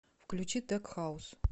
включи тек хаус